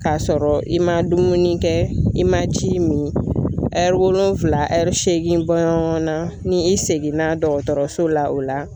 K'a sɔrɔ i man dumuni kɛ i man ji min wolonwula seegin bɔɲɔngɔn na ni i seginna dɔgɔtɔrɔso la o la